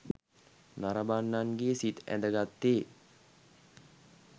නරඹන්නන්ගේ සිත් ඇදගත්තේ